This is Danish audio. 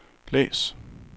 læs